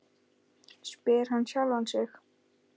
spyr hann sjálfan sig.